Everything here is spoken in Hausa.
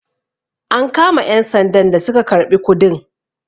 am kama 'yansandan da suka karɓi kudin?